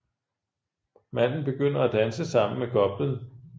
Manden begynder at danse sammen med goplen